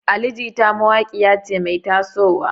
Ali Jita mawaƙiya ce mai taso wa.